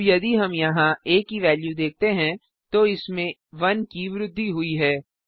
अब यदि हम यहाँ आ की वेल्यू देखते हैं तो इसमें 1 की वृद्धि हुई है